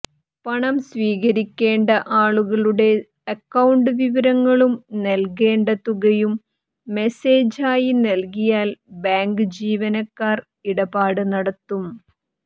പണം സ്വീകരിക്കേണ്ട ആളുടെ അക്കൌണ്ട് വിവരങ്ങളും നൽകേണ്ട തുകയും മെസ്സേജ് ആയി നൽകിയാൽ ബാങ്ക് ജീവനക്കാർ ഇടപാട് നടത്തും